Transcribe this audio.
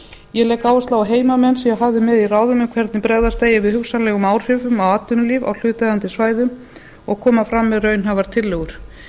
ég legg áherslu á að heimamenn séu hafðir með í ráðum um hvernig bregðast eigi við hugsanlegum áhrifum á atvinnulíf á hlutaðeigandi svæðum og koma fram með raunhæfar tillögur